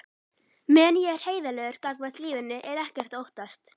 Meðan ég er heiðarlegur gagnvart lífinu er ekkert að óttast.